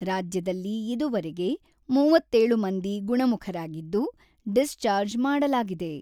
ರಾಜ್ಯದಲ್ಲಿ ಇದುವರೆಗೆ ಮೂವತ್ತೇಳು ಮಂದಿ ಗುಣಮುಖರಾಗಿದ್ದು, ಡಿಸ್‌ಚಾರ್ಜ್ ಮಾಡಲಾಗಿದೆ.